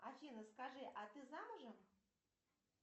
афина скажи а ты замужем